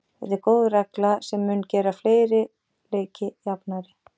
Þetta er góð regla sem mun gera fleiri leiki jafnari.